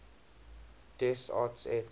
des arts et